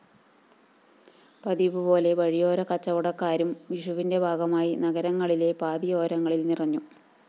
പതിവുപോലെ വഴിയോരക്കച്ചവടക്കാരും വിഷുവിന്റെ ഭാഗമായി നഗരങ്ങളിലെ പാതയോരങ്ങളില്‍ നിറഞ്ഞു കഴിഞ്ഞിട്ടുണ്ട്